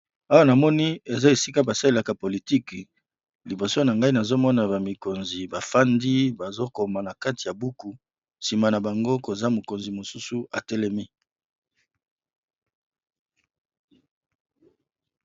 Awa na moni eza esika basalelaka politike liboso na ngai nazomona bamikonzi bafandi bazokoma na kati ya buku nsima na bango koza mokonzi mosusu atelemi.